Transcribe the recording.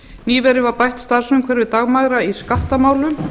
nýverið var bætt starfsumhverfi dagmæðra í skattamálum